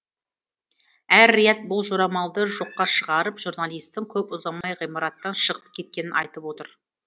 эр рияд бұл жорамалды жоққа шығарып журналистің көп ұзамай ғимараттан шығып кеткенін айтып отыр